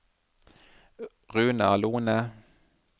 Runar Lohne